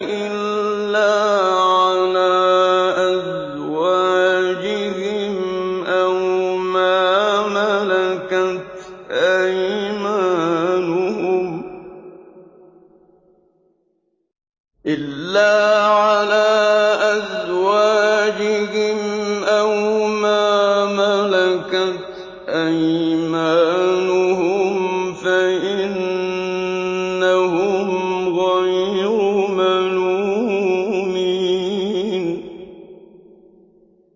إِلَّا عَلَىٰ أَزْوَاجِهِمْ أَوْ مَا مَلَكَتْ أَيْمَانُهُمْ فَإِنَّهُمْ غَيْرُ مَلُومِينَ